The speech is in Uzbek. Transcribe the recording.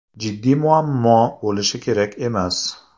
Jiddiy muammo bo‘lishi kerak emas.